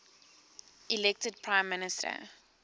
elected prime minister